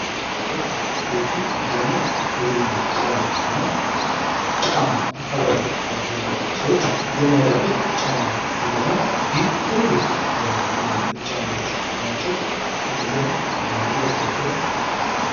ቦቲ ቦቲ አብዛኛውን በግብርና ስራ ላይ እና ጭቃማ አካባቢ ላይ ያሉትን ሰዎች የሚያደርጉት ጫማ አይነት ነው። ይህም ትልልቅ ጫማዎች ናቸው። እነዛንም ይለብሷቸዋል።